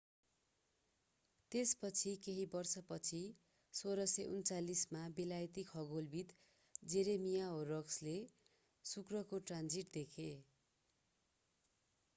त्यसपछि केही वर्षपछि 1639 मा बेलायती खगोलविद jeremiah horrocks ले शुक्रको ट्रान्जिट देखे